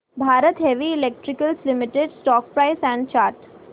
Bharat heavy electricals limited stock price and chart